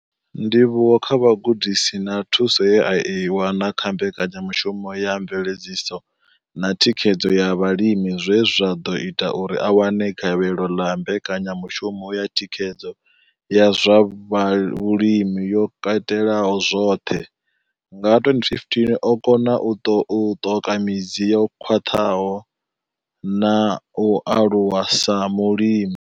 Ndivhuwo kha vhugudisi na thuso ye a i wana kha mbekanyamushumo ya mveledziso na thikhedzo ya vhalimi zwe zwa ḓo ita uri a wane gavhelo ḽa mbekanyamushumo ya thikhedzo ya zwa vhulimi yo katelaho zwoṱhe nga 2015, o kona u ṱoka midzi yo khwaṱhaho na u aluwa sa mulimi.